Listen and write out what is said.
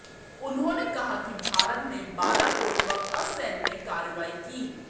उन्होंने कहा कि भारत ने बालाकोट पर असैन्य कार्रवाई की